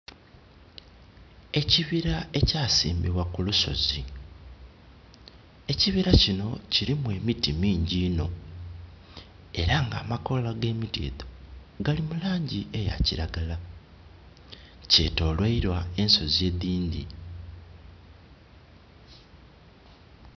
Ekibira ekyasimbibwa ku lusozi. Ekibira kino kilimu emiti mingyi inho. Era nga amakoola ag'eimiti edho gali mu laangi eya kiragala. Kyetoloirwa ensozi edhindhi.